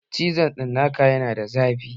Cizon cinnaka yana da zafi